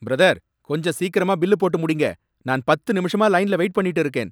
Brother! கொஞ்சம் சீக்கிரமா bill போட்டு முடிங்க. நான் பத்து நிமிஷமா லைன்ல வெயிட் பண்ணிட்டு இருக்கேன்.